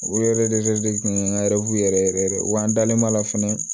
U yɛrɛ de tun ye n ka yɛrɛ yɛrɛ yɛrɛ wa an dalen b'a la fɛnɛ